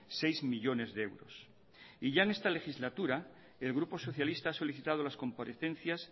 seis millónes de euros y ya en esta legislatura el grupo socialista ha solicitado las comparecencias